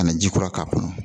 Ka na ji kura k'a kɔnɔ